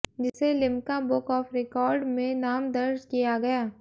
जिसे Limca book of record में नाम दर्ज किया गया